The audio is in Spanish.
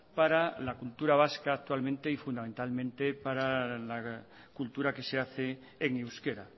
para la cultura vasca actualmente y fundamentalmente para la cultura que se hace en euskera